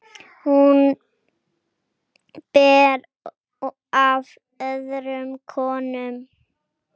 Hún ber af öðrum konum.